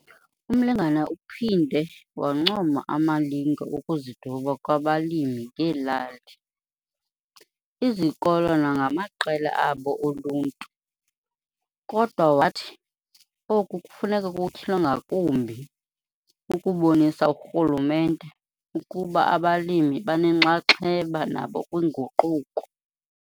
UMlengana uphinde wancoma amalinge okuziduba kwabalimi ngeelali, izikolo nangamaqela abo oluntu, kodwa wathi oku kufuneka kutyhilwe ngakumbi ukubonisa urhulumente ukuba abalimi banenxaxheba nabo kwinguquko.